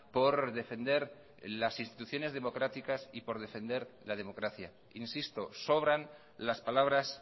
por defender las instituciones democráticas y por defender la democracia insisto sobran las palabras